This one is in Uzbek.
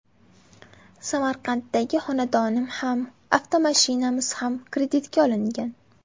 Samarqanddagi xonadonim ham, avtomashinamiz ham kreditga olingan.